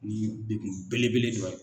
Ni degun belebele dɔ ye.